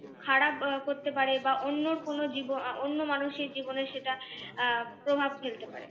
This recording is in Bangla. খারাপ আহ করতে পারে বা অন্যর কোনো জীবন অন্য মানুষের জীবনে সেটা আহ প্রভাব ফেলতে পারে।